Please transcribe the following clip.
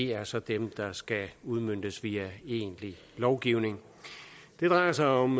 er så dem der skal udmøntes via egentlig lovgivning det drejer sig om